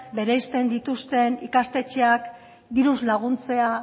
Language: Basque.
bereziten dituzten ikastetxeak diruz laguntzea